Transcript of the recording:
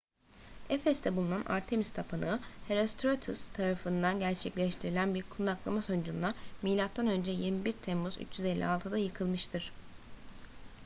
efes'te bulunan artemis tapınağı herostratus tarafından gerçekleştirilen bir kundaklama sonucunda mö 21 temmuz 356'da yıkılmıştır